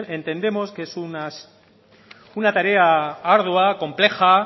entendemos que es una tarea ardua compleja